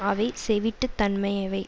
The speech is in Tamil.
அவை செவிட்டுத் தன்மையவே